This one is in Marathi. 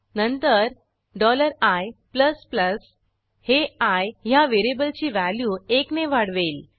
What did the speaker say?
नंतर i हे आय ह्या व्हेरिएबलची व्हॅल्यू एकने वाढवेल